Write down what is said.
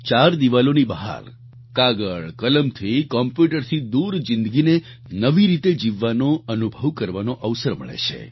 ચાર દિવાલોની બહાર કાગળકલમથી કોમ્પ્યુટરથી દૂર જીંદગીને નવી રીતે જીવવાનો અનુભવ કરવાનો અવસર મળે છે